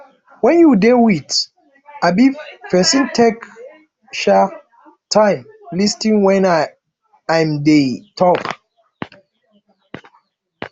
when you dey with um person take um time um lis ten when im dey talk